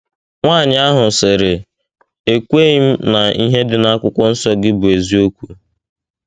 Nwaanyị ahụ sịrị: “ Ekweghị m na ihe dị n'akwụkwọnsọ gị bụ eziokwu.